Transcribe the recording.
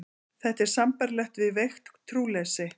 Þetta er sambærilegt við veikt trúleysi.